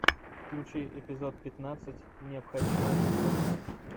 включи эпизод пятнадцать необходимая жестокость